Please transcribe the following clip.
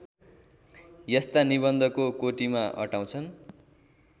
यस्ता निबन्धको कोटिमा अटाउँछन्